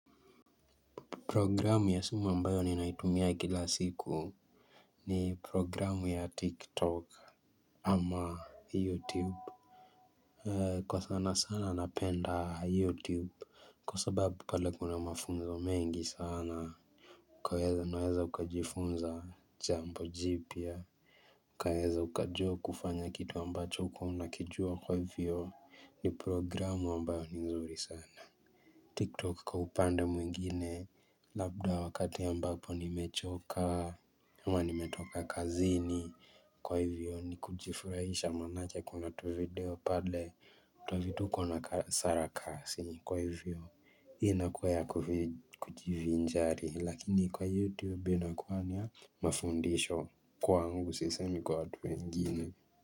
Programu ya simu ambayo ninaitumia kila siku ni programu ya tiktok ama youtube. Kwa sana sana napenda youtube. Kwa sababu pale kuna mafunzo mengi sana. Unaweza kujifunza jambo jipya. Kaweza ukajua kufanya kitu ambacho hukuwa unakijua kwa hivyo ni programu ambayo ni nzuri sana. Tiktok kwa upande mwingine labda wakati ambapo nimechoka, huwa nimetoka kazini kwa hivyo ni kujifurahisha manake kuna tuvideo pale twa vituko na sarakasi kwa hivyo hii na kuwa ya kujivinjari lakini kwa youtube inakuwa na mafundisho kwaangu sisemi kwa watu wengine.